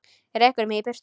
Rekur mig í burtu?